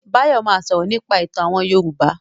Báyọ̀ ma sọ̀rọ̀ nípa ìtàn àwọn Yorùbá